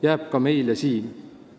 Jääb ka meile siin.